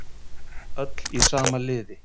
Öll í sama liði